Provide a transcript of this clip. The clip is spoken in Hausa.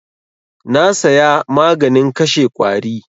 Na saya maganin kashe ƙwari.